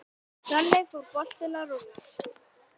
Þannig fór boltinn að rúlla.